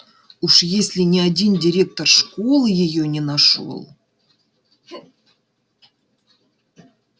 уж если ни один директор школы её не нашёл